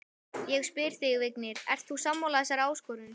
Ég spyr þig, Vignir, ert þú sammála þessari áskorun?